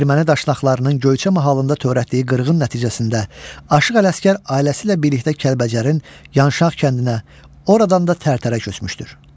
Erməni daşnaqlarının Göyçə mahalında törətdiyi qırğın nəticəsində Aşıq Ələsgər ailəsi ilə birlikdə Kəlbəcərin Yanşaq kəndinə, oradan da Tərtərə köçmüşdür.